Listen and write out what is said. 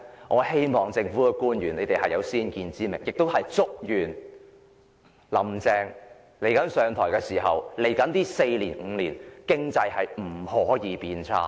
我希望政府官員有先見之明，亦祝願"林鄭"上台後未來四五年經濟不會變差。